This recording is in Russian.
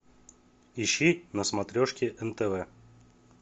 ищи на смотрешке нтв